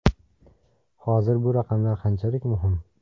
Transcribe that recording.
Hozir bu raqamlar qanchalik muhim?